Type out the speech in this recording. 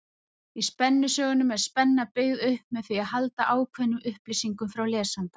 Í spennusögunum er spenna byggð upp með því að halda ákveðnum upplýsingum frá lesanda.